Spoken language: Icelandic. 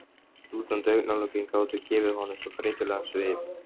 Slútandi augnalokin gátu gefið honum svo þreytulegan svip.